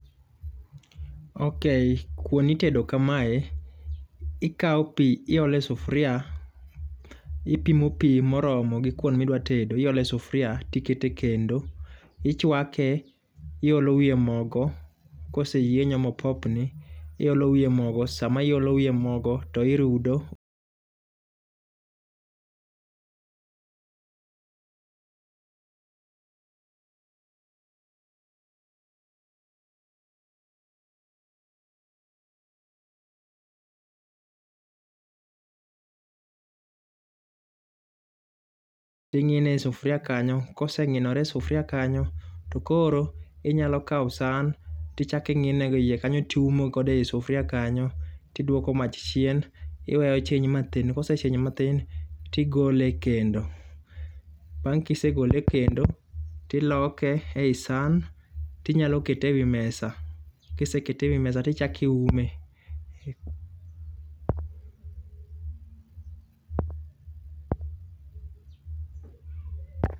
okay kuon itedo kamae: ikawo pii iole sufuria ipimo pii moromo gi kuom midwa tedo iole sufuria ikete kendo. Ichwake, iolo wiye mogo koseyienyo mopopni iolo wiye mogo .Sama iolo wiye mogo to irudo ing'ine e sufuria kanyo, koseng'inore e s sufuria kanyo to koro, inyalo kawo san tichaki ng'ine go ei kanyo tiume godo e sufuria kanyo , tidwoko mach chien iwe ochwiny' mathin kosechwiny mathin tigole e kendo Bang' kisegole e kendo, tiloke ei san tinyalo kete ewi mesa. Kisekete ewi mesa tichaki ume.